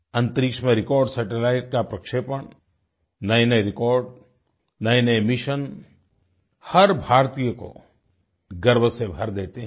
अंतरिक्ष में record satellite का प्रक्षेपण नएनए रेकॉर्ड नएनए मिशन हर भारतीय को गर्व से भर देते हैं